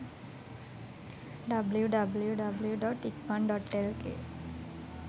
www.ikman.lk